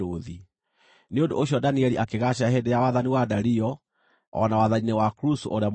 Nĩ ũndũ ũcio Danieli akĩgaacĩra hĩndĩ ya wathani wa Dario, o na wathani-inĩ wa Kurusu ũrĩa Mũperisia.